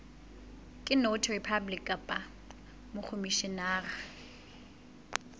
ke notary public kapa mokhomishenara